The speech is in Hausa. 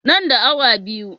Nan da awa biyu.